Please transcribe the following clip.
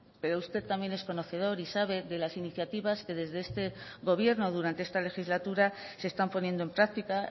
pero usted también es conocedor y sabe de las iniciativas que desde este gobierno durante esta legislatura se están poniendo en práctica